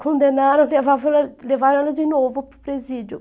Condenaram, levava levaram ela de novo para o presídio.